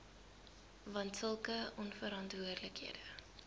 want sulke onverantwoordelike